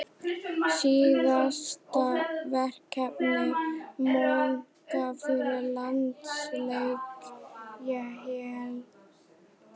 Síðasta verkefni Mónakó fyrir landsleikjahlé?